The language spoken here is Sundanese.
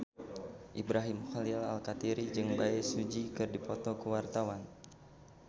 Ibrahim Khalil Alkatiri jeung Bae Su Ji keur dipoto ku wartawan